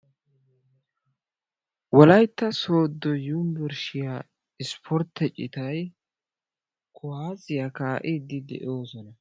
Wolyitta sodo yunburshshiyaa ispportte cittay kuwaasiyaa kaa'iddi de'ossona.